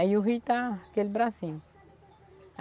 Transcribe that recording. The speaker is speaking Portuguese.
Aí o rio está aquele bracinho.